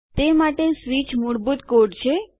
તે માટે સ્વીચ મૂળભૂત કોડ છે